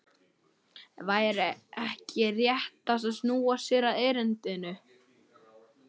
Væri ekki réttast að snúa sér að erindinu?